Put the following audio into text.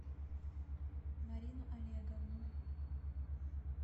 марину олеговну